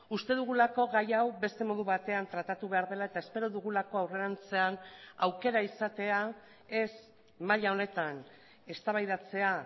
uste dugulako gai hau beste modu batean tratatu behar dela eta espero dugulako aurrerantzean aukera izatea ez maila honetan eztabaidatzea